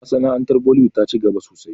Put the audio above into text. Masana'antar bollywood ta ci gaba sosai